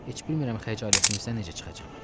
Heç bilmirəm xəcalətinizdən necə çıxacam.